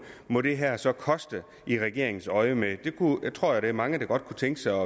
må det her så koste i regeringens øjne jeg tror at der er mange der godt kunne tænke sig